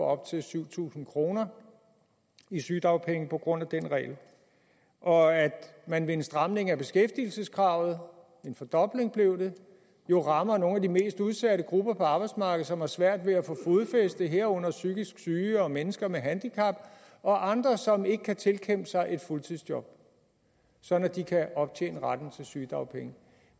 op til syv tusind kroner i sygedagpenge på grund af den regel og at man ved en stramning af beskæftigelseskravet en fordobling blev det jo rammer nogle af de mest udsatte grupper på arbejdsmarkedet som har svært ved at få fodfaste herunder psykisk syge og mennesker med handicap og andre som ikke kan tilkæmpe sig et fuldtidsjob sådan at de kan optjene retten til sygedagpenge